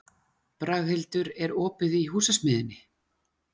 Braghildur, er opið í Húsasmiðjunni?